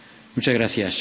Muchas gracias.